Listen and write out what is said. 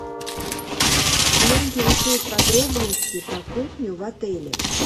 меня интересуют подробности про кухню в отеле